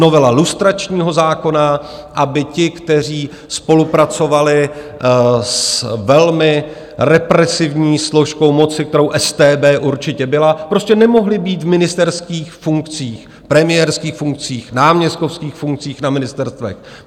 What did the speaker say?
Novela lustračního zákona, aby ti, kteří spolupracovali s velmi represivní složkou moci, kterou StB určitě byla, prostě nemohli být v ministerských funkcích, premiérských funkcích, náměstkovských funkcích na ministerstvech.